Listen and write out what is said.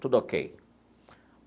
Tudo ok.